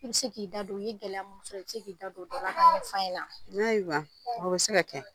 I bɛ se k'i da don i ye gɛlɛya min sɔrɔ , inbɛ se k'i da don, ayiwa, o bɛ se k'i da don la n'a jira a bɛ se ka kɛ.